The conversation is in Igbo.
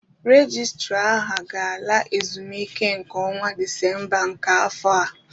Rejistra aha ga-ala ezumike nká n'ọnwa Disemba nke afọ a.